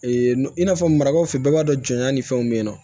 i n'a fɔ marabaw fɛ yen bɛɛ b'a dɔn jɔnya ni fɛnw bɛ yen nɔ